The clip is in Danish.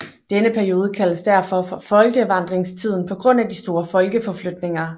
Denne periode kaldes derfor for folkevandringstiden på grund af de store folkeforflytninger